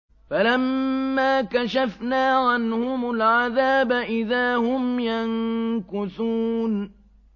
فَلَمَّا كَشَفْنَا عَنْهُمُ الْعَذَابَ إِذَا هُمْ يَنكُثُونَ